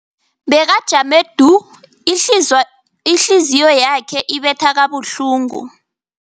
Bekajame du, ihlizi ihliziyo yakhe ibetha kabuhlungu.